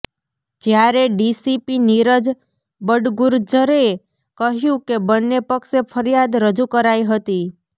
જ્યારે ડીસીપી નિરજ બડગુરજરે કહ્યું કે બન્ને પક્ષે ફરિયાદ રજૂ કરાઇ હતી